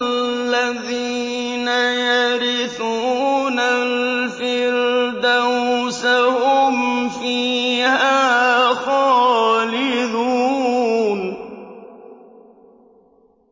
الَّذِينَ يَرِثُونَ الْفِرْدَوْسَ هُمْ فِيهَا خَالِدُونَ